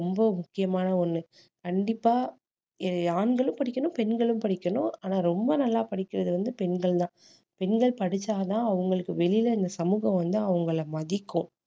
ரொம்ப முக்கியமான ஒண்ணு கண்டிப்பா அஹ் ஆண்களும் படிக்கணும் பெண்களும் படிக்கணும் ஆனா ரொம்ப நல்லா படிக்கிறது வந்து பெண்கள்தான் பெண்கள் படிச்சாதான் அவங்களுக்கு வெளியிலே இந்த சமூகம் வந்து அவங்களை மதிக்கும்